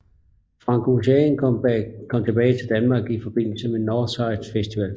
Frank Ocean kom tilbage til Danmark i forbindelse med Northside Festival